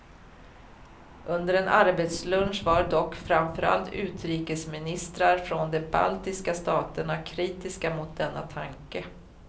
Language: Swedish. Under en arbetslunch var dock framför allt utrikesministrar från de baltiska staterna kritiska mot denna tanke.